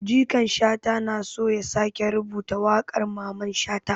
Jikan Shata na so ya sake rubuta wakar Maman shata.